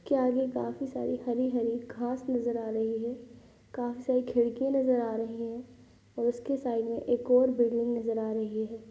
क्या है यह? काफी सारी हरी हरी घास नज़र आ रही है| काफी सारी खिड़किया नज़र आ रही है| और उसके सामने एक और बिल्डिंग नज़र आ रही है।